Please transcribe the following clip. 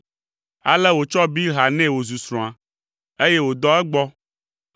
Ale wòtsɔ Bilha nɛ wòzu srɔ̃a, eye wòdɔ egbɔ;